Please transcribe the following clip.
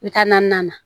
N bɛ taa naaninan na